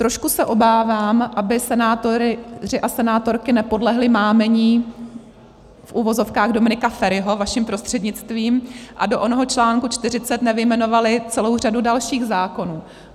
Trošku se obávám, aby senátoři a senátorky nepodlehli mámení - v uvozovkách - Dominika Feriho, vaším prostřednictvím, a do onoho článku 40 nevyjmenovali celou řadu dalších zákonů.